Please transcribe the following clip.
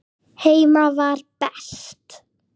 Heima var best.